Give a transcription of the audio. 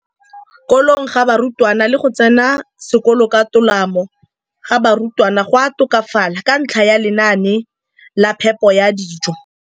Kolong ga barutwana le go tsena sekolo ka tolamo ga barutwana go a tokafala ka ntlha ya lenaane la phepo ya dijo.